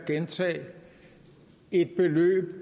det så lavt et beløb at